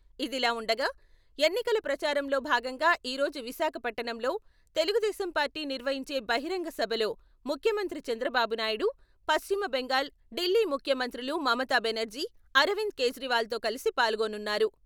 ఇదిలా ఉండగా ఎన్నికల ప్రచారంలో భాగంగా ఈ రోజు విశాఖపట్టణంలో తెలుగుదేశం పార్టీ నిర్వహించే బహిరంగ సభలో ముఖ్యమంత్రి చంద్రబాబునాయుడు, పశ్చిమబెంగాల్, డిల్లీ ముఖ్యమంత్రులు మమతాబెనర్జీ, అరవింద్ కేజ్రివాల్‌తో కలిసి పాల్గొనున్నారు.